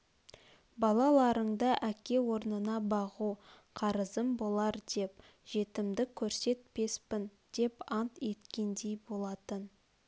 балаларыңды әке орнына бағу қарызым болар деп жетімдік көрсетпеспін деп ант еткендей болатын